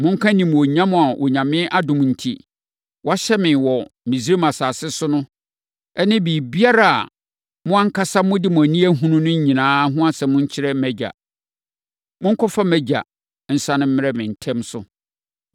Monka animuonyam a Onyame adom enti, wɔahyɛ me wɔ Misraim asase so ne biribiara a mo ankasa mode mo ani abɛhunu no nyinaa ho asɛm nkyerɛ mʼagya. Monkɔfa mʼagya nsiane mmrɛ me ntɛm so.”